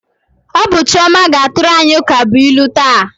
Ọ bụ Chioma ga-atụrụ anyị ukabụilu taa.